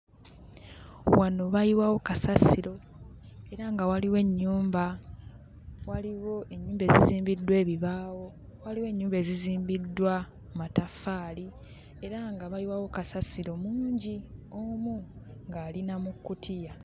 Wano bayiwawo kasasiro era nga waliwo ennyumba waliwo ennyumba ezizimbiddwa ebibaawo waliwo ennyumba ezizimbiddwa mataffaali era nga bayiwawo kasasiro mungi omu ng'ali na mu kkutiya.